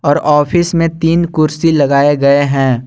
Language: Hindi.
और ऑफिस में तीन कुर्सी लगाए गए हैं।